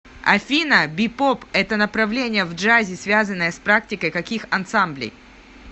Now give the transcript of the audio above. афина бипоп это направление в джазе связанное с практикой каких ансамблей